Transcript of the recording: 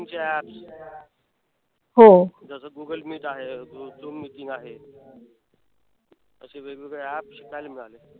meeting चे apps जस Google meet आहे. झूम meeting आहे. तसे वेगवेगळे apps शिकायला मिळाले.